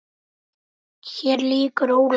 Hér lýkur Ólafi.